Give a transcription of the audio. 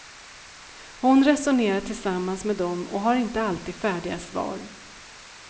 Hon resonerar tillsammans med dem och har inte alltid färdiga svar.